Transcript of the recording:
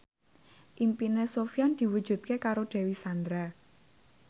impine Sofyan diwujudke karo Dewi Sandra